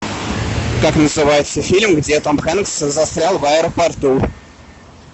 как называется фильм где том хэнкс застрял в аэропорту